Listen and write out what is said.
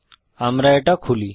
আমরা এটা খুলি